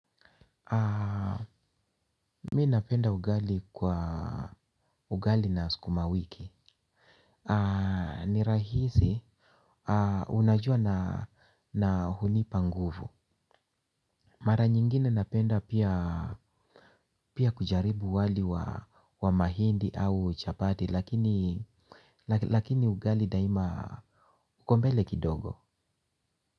Mi napenda ugali kwa ugali na skuma wiki. Ni rahisi unajua na hunipa nguvu. Mara nyingine napenda pia kujaribu wali wa mahindi au chapati lakini lakini ugali daima uko mbele kidogo.